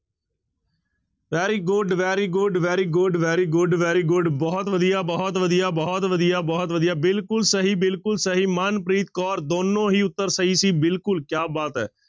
Very good, very good, very good, very good, very good ਬਹੁਤ ਵਧੀਆ, ਬਹੁਤ ਵਧੀਆ, ਬਹੁਤ ਵਧੀਆ, ਬਹੁਤ ਵਧੀਆ, ਬਿਲਕੁਲ ਸਹੀ ਬਿਲਕੁਲ ਸਹੀ ਮਨਪ੍ਰੀਤ ਕੌਰ ਦੋਨੋਂ ਹੀ ਉੱਤਰ ਸਹੀ ਸੀ ਬਿਲਕੁਲ ਕਿਆ ਬਾਤ ਹੈ।